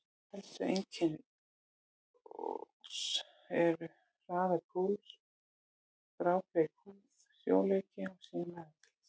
Helstu einkenni losts eru: hraður púls, grábleik húð, sljóleiki og síðan meðvitundarleysi.